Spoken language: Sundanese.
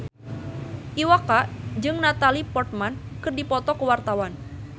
Iwa K jeung Natalie Portman keur dipoto ku wartawan